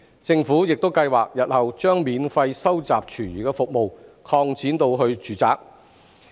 政府亦計劃日後將免費收集廚餘服務擴展至住宅。